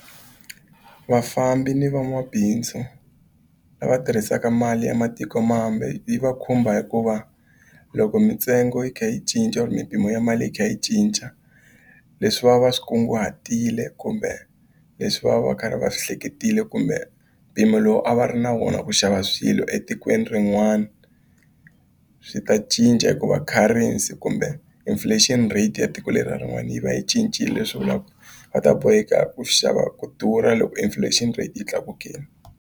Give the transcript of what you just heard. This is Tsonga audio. Vafambi ni van'wabindzu lava tirhisaka mali ya matikomambe yi va khumba hikuva loko mitsengo yi kha yi cinca or mimpimo ya mali yi kha yi cinca leswi va va swi kunguhatile kumbe leswi va va ka va swi hleketile kumbe mpimo lowu a va ri na vona ku xava swilo etikweni rin'wana swi ta cinca hikuva currency kumbe inflation rate ya tiko lera rin'wana yi va yi cincile leswi vulaka va ta boheka ku xava ku durha loko inflation rate yi tlakukile.